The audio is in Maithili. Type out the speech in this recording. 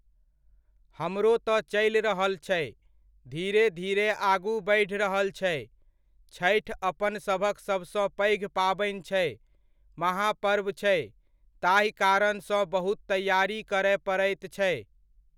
हमरो तऽ चलि रहल छै, धीरे धीरे आगू बढ़ि रहल छै, छठि अपनसभक सभसँ पैघ पाबनि छै, महापर्व छै, ताहि कारण सँ बहुत तैआरी करय पड़ैत छै।